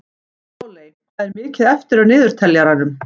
Páley, hvað er mikið eftir af niðurteljaranum?